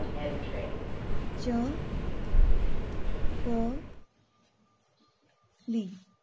ચકલી